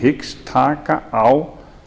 hægt taka á